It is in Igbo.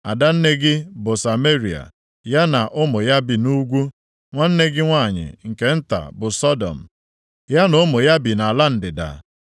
Ada nne gị bụ Sameria, ya na ụmụ ya bi nʼugwu. Nwanne gị nwanyị nke nta bụ Sọdọm, ya na ụmụ ya bi nʼala ndịda.